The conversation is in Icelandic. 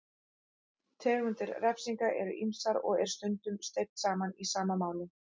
Tegundir refsinga eru ýmsar og er stundum steypt saman í sama máli.